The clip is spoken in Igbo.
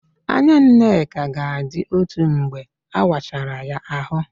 Anya Nneka ga-adị otu mgbe a wachara ya ahụ